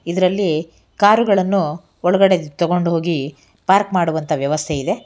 ಇದರಲ್ಲಿ ಕಾರ್ ಗಳನ್ನು ಒಳಗಡೆ ತಗೊಂಡು ಹೋಗಿ ಪಾರ್ಕ್ ಮಾಡುವಂತ ವ್ಯವಸ್ಥೆ ಇದೆ.